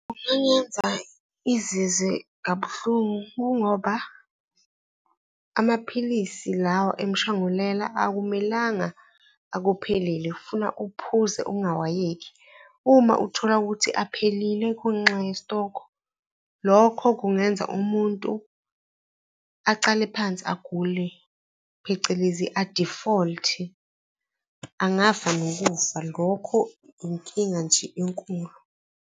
Kungangenza izizwe kabuhlungu kungoba amaphilisi lawa emshangulela akumelanga akuphelele funa uphuze angawayeki. Uma uthola ukuthi aphelile kwenxa yesitoko, lokho kungenza umuntu acale phansi agule, phecelezi a-default-e, angafa nokufa. Lokho inkinga nje enkulu.